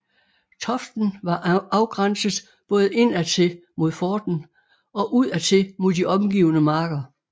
Toften var afgrænset både indadtil mod forten og udadtil mod de omgivende marker